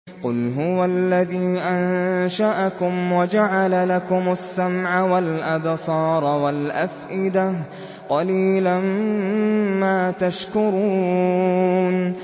قُلْ هُوَ الَّذِي أَنشَأَكُمْ وَجَعَلَ لَكُمُ السَّمْعَ وَالْأَبْصَارَ وَالْأَفْئِدَةَ ۖ قَلِيلًا مَّا تَشْكُرُونَ